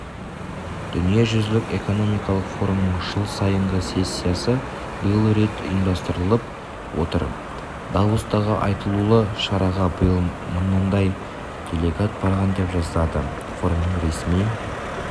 дүниежүзілік эконмоикалық форумның жыл сайынғы сессиясы биыл рет ұйымдастырылып отыр давостағы айтулы шараға биыл мыңдай делегат барған деп жазады форумның ресми